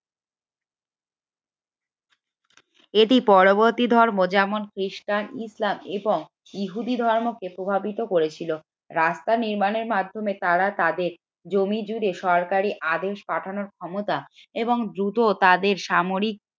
এটি পরবর্তী ধর্ম যেমন খ্রিস্টান ইসলাম এবং ইহুদি ধর্মকে প্রভাবিত করেছিল। রাস্তা নির্মাণের মাধ্যমে তারা তাদের জমি জুড়ে সরকারি আদেশ পাঠানোর ক্ষমতা এবং দ্রুত তাদের সামরিক